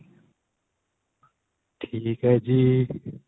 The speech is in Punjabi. ਠੀਕ ਏ ਜੀ.